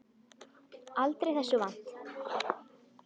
Aldrei þessu vant.